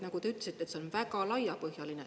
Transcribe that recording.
Te ütlesite, et see on väga laiapõhjaline.